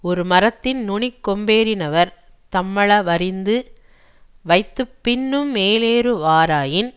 ஒரு மரத்தின் நுனிக்கொம்பேறினவர் தம்மள வறிந்து வைத்து பின்னும் மேலேறுவாராயின்